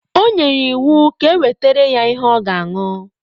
O nyere iwu ka e wetara ya ihe ọ ga ṅụ.